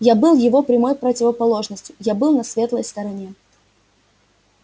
я был его прямой противоположностью я был на светлой стороне